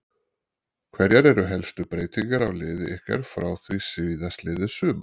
Hverjar eru helstu breytingar á liði ykkar frá því síðastliðið sumar?